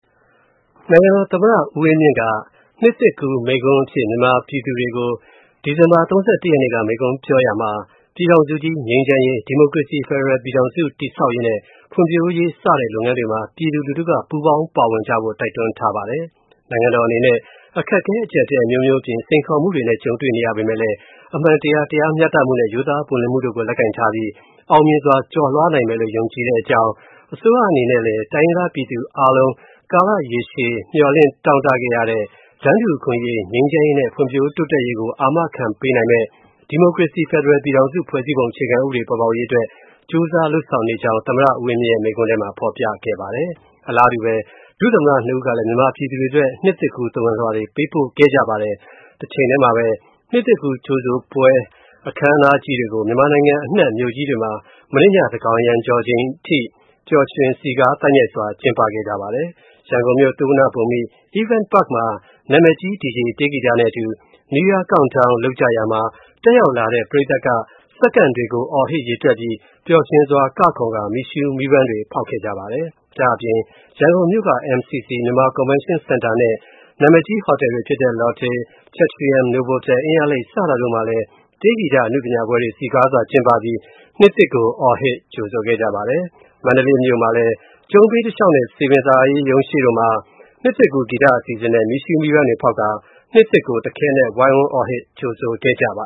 နိုင်ငံတော်သမ္မတ ဦးဝင်းမြင့်က နှစ်သစ်ကူးမိန့်ခွန်းအဖြစ် မြန်မာပြည်သူတွေကို ဒီဇင်ဘာ ၃၁ ရက်နေ့က မိန့်ခွန်းပြောကြားရာမှာ - ပြည်ထောင်စုကြီး ငြိမ်းချမ်းရေး၊ ဒီမိုကရေစီ ဖက်ဒရယ်ပြည်ထောင်စု တည်ဆောက်ရေးနဲ့ ဖွံ့ဖြိုးတိုးတက်ရေး စတဲ့လုပ်ငန်းတွေမှာ ပြည်သူ လူထုက ပူးပေါင်း ပါဝင်ကြဖို့ တိုက်တွန်းထားပါတယ်။ နိုင်ငံတော်အနေနဲ့ အခက်အခဲ၊ အကြပ်အတည်း အမျိုးမျိုးအပြင် စိန်ခေါ်မှုတွေနဲ့ ကြုံတွေ့နေရပေမယ့်လည်း အမှန်တရား၊ တရားမျှတမှုနဲ့ ရိုးသားပွင့်လင်းမှုတို့ကို လက်ကိုင်ထားပြီး အောင်မြင်စွာ ကျော်လွှားနိုင်မယ်လို့ ယုံကြည်တဲ့အကြောင်း၊ အစိုးရအနေနဲ့လည်း တိုင်းရင်းသားပြည်သူအားလုံး ကာလရေရှည် မျှော်လင့် တောင့်တခဲ့ရတဲ့ တန်းတူအခွင့်အရေး၊ ငြိမ်းချမ်းရေးနဲ့ ဖွံ့ဖြိုးတိုးတက်ရေးကို အာမခံခက်ပေးနိုင်မယ့် ဒီမိုကရေစီ ဖက်ဒရယ်ပြည်ထောင်စု ဖွဲ့စည်းပုံအခြေခံဥပဒေ ပေါ်ပေါက်ရေးအတွက် ကြိုးစား လုပ်ဆောင်နေကြောင်းလည်း သမ္မတ ဦးဝင်းမြင့်ရဲ့ မိန့်ခွန်းထဲမှာ ဖော်ပြထားပါတယ်။ အလားတူဘဲ ဒုသမ္မတ ၂ ဦးကလည်း မြန်မာပြည်သူတွေအတွက် နှစ်သစ်ကူး သဝဏ်လွှာတွေကို ပေးပို့ခဲ့ကြပါတယ်။ တချိန်ထဲမှာဘဲ နှစ်သစ်ကူးကြိုဆိုတဲ့ ပွဲတွေကို မြန်မာနိုင်ငံအနှံ့ မြို့ကြီးတွေမှာ မနေ့ည သန်းကောင်ယံကျော် ချိန်အထိ ပျှော်ရွှင် စည်ကားသိုက်မြိုက်စွာ ကျင်းပခဲ့ကြပါတယ်။ ရန်ကုန်မြို၊ သုဝဏ္ဍဘူမိ Event Park မှာ နာမည်ကြီး DJ တေးဂီတနဲ့အတူ New Year Countdown လုပ်ကြတာမှာ တက်ရောက်လာတဲ့ ပရိတ်သတ်က စက္ကန့်တွေကို အော်ဟစ် ရေတွက်ပြီး ပျှော်ရွင်စွာ ကခုန်ကာ မီးရူးမီးပန်းတွေ ဖောက်ခဲ့ကြပါတယ်။ ဒါ့အပြင် ရန်ကုန်မြို့က MCC မြန်မာကွန်ဗင်းရှင်းစင်တာနဲ့ နာမည်ကြီး ဟိုတယ်တွေဖြစ်တဲ့ Lotte၊ Chatrium၊ Novotal၊ အင်းယားလိပ်တို့မှာလည်း တေးဂီတ အနုပညာပွဲတွေ စည်ကားစွာ ကျင်းပပြီး၊ နှစ်သစ်ကို အော်ဟစ် ကြိုဆိုခဲ့ကြပါတယ်။ မန္တလေးမြို.မှာလည်း ကျုံးဘေးတလျှောက်နဲ့ စည်ပင်သာယာရုံးရှေ့တို့မှာ နှစ်သစ်ကူး ဂီတအစီအစဉ်နဲ့ မီးရူးမီးပန်းတွေ ဖောက်ကာ နှစ်သစ်ကို တခဲနက် ဝိုင်းဝန်း အော်ဟစ် ကြိုခဲ့ကြပါ